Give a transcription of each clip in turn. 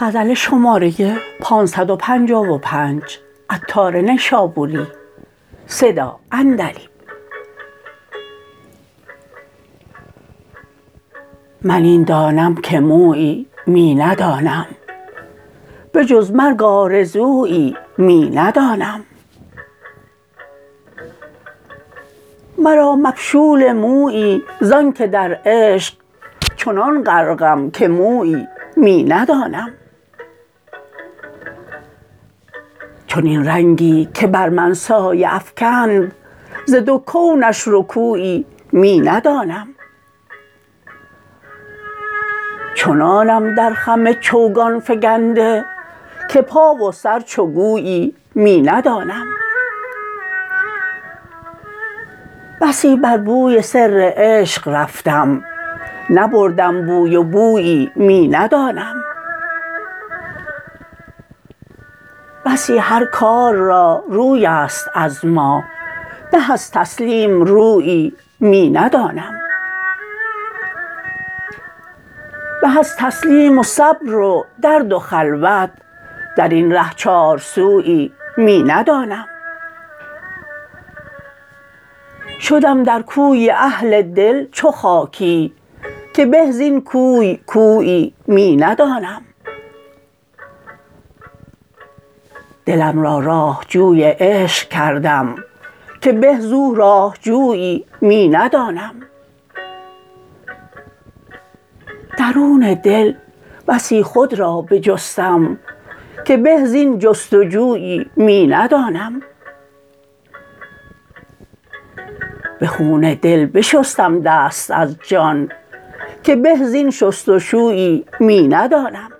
من این دانم که مویی می ندانم بجز مرگ آرزویی می ندانم مرا مبشول مویی زانکه در عشق چنان غرقم که مویی می ندانم چنین رنگی که بر من سایه افکند ز دو کونش رکویی می ندانم چنانم در خم چوگان فگنده که پا و سر چو گویی می ندانم بسی بر بوی سر عشق رفتم نبردم بوی و بویی می ندانم بسی هر کار را روی است از ما به از تسلیم رویی می ندانم به از تسلیم و صبر و درد و خلوت درین ره چارسویی می ندانم شدم در کوی اهل دل چو خاکی که به زین کوی کویی می ندانم دلم را راه جوی عشق کردم که به زو راه جویی می ندانم درون دل بسی خود را بجستم که به زین جست و جویی می ندانم به خون دل بشستم دست از جان که به زین شست و شویی می ندانم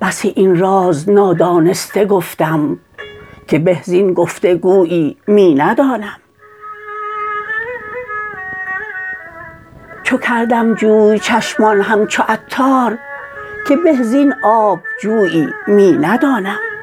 بسی این راز نادانسته گفتم که به زین گفت و گویی می ندانم چو کردم جوی چشمان همچو عطار که به زین آب جویی می ندانم